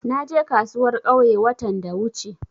Na je kasuwar ƙauye watan da wuce.